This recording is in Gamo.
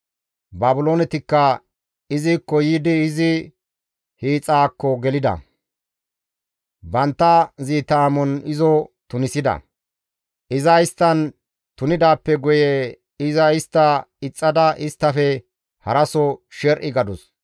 Baabiloonetikka izikko yiidi izi hiixaakko gelida; bantta ziita amon izo tunisida; iza isttan tunidaappe guye iza istta ixxada isttafe haraso sher7i gadus.